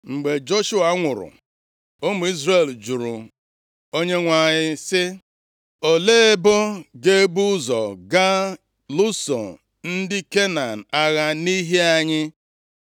Mgbe Joshua nwụrụ, ụmụ Izrel jụrụ Onyenwe anyị sị, “Olee ebo ga-ebu ụzọ gaa lụso ndị Kenan agha nʼihi anyị?”